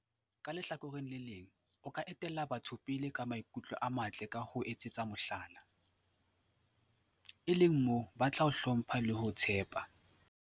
Ka lehlakoreng le leng, o ka etella batho pele ka maikutlo a matle ka ho ba etsetsa mohlala, e leng moo ba tla o hlompha le ho o tshepa.